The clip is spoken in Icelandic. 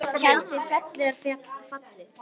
Tjaldið fellur fallið